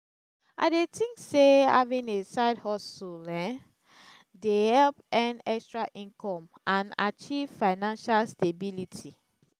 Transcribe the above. i dey think say having a side-hustle um dey help earn extra income and achieve financial stability.